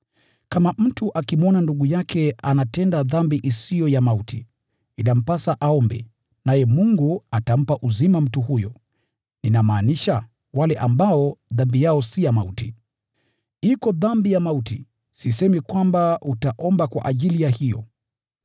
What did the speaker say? Kama mtu akimwona ndugu yake akitenda dhambi isiyo ya mauti, inampasa aombe, naye Mungu atampa uzima mtu huyo. Ninamaanisha wale ambao dhambi yao si ya mauti. Iko dhambi ya mauti, sisemi kwamba utaomba kwa ajili ya hiyo.